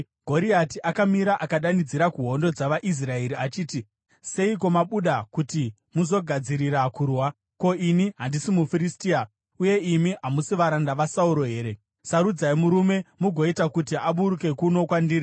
Goriati akamira akadanidzira kuhondo dzavaIsraeri achiti, “Seiko mabuda kuti muzogadzirira kurwa? Ko, ini handisi muFiristia, uye imi hamusi varanda vaSauro here? Sarudzai murume mugoita kuti aburuke kuno kwandiri.